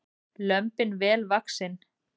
Lömbin vel vaxin